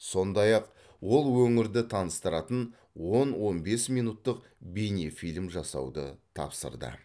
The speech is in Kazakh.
сондай ақ ол өңірді таныстыратын он он бес минуттық бейнефильм жасауды тапсырды